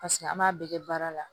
Paseke an m'a bɛɛ kɛ baara la